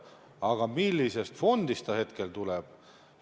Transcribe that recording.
Aga mis fondist see tuleb?